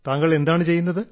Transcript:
താങ്കൾ എന്താണ് ചെയ്യുന്നത്